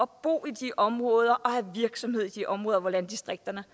bo i de områder og have virksomhed i de områder hvor landdistrikterne